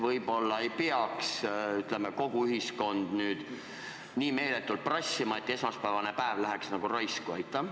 Võib-olla ei peaks, ütleme, kogu ühiskond ikka nii meeletult prassima, et esmaspäevane päev tuleks vabaks anda?